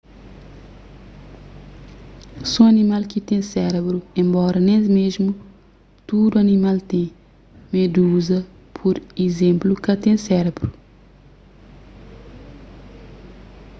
so animal ki ten sérebru enbora nen mésmu tudu animal ten; meduza pur izénplu ka ten sérebru